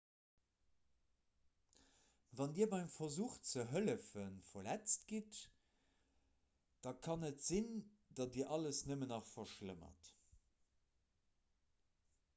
wann dir beim versuch ze hëllefen verletzt gitt da kann et sinn datt dir alles nëmmen nach verschlëmmert